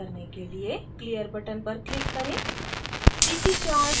window को खाली करने के लिए clear button पर click करें